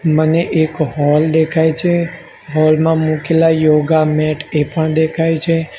મને એક હોલ દેખાય છે હોલ માં મુકેલા યોગા મેટ એ પણ દેખાય છે.